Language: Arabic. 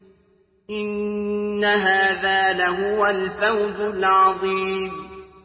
إِنَّ هَٰذَا لَهُوَ الْفَوْزُ الْعَظِيمُ